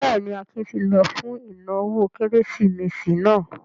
Bẹ́ẹ̀ ni, Akin ti lọ fún ìnáwó Kérésìmesì náà.